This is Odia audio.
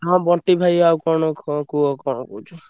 ହଁ ବଣ୍ଟି ଭାଇ ଆଉ କଣ କ~ ହଁ କୁହ କଣ କହୁଛ।